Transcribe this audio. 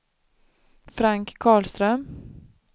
Frank Karlström